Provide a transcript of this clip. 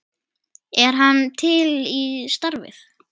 Er hann til í starfið?